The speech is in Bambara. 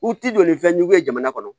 U ti joli fɛn jugu ye jamana kɔnɔ